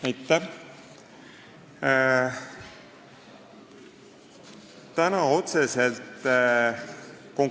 Aitäh!